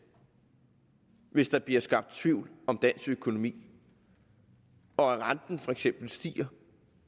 hvis der bliver skabt tvivl om dansk økonomi og at renten for eksempel stiger